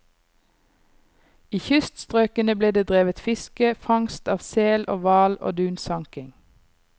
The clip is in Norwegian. I kyststrøkene ble det drevet fiske, fangst av sel og hval og dunsanking.